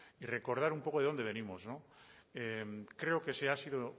y recordar un poco de dónde venimos creo que se ha sido